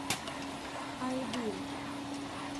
айдын